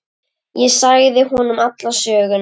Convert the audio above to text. Ég sagði honum alla söguna.